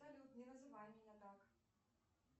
салют не называй меня так